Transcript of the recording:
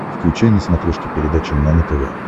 включай на смотрешке передачу нано тв